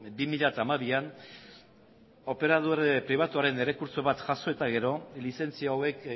bi mila hamabian operadore pribatuen errekurtso bat jaso eta gero lizentzia hauek